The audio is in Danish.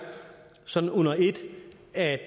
sådan under ét at